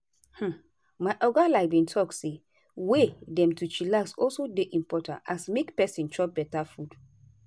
hmm my oga like bin talk say way dem to chillax also dey impotant as make peson chop beta food.